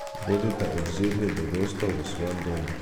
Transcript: Bodite obzirni do gostov v svojem domu.